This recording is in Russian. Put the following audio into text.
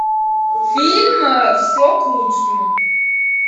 фильм все к лучшему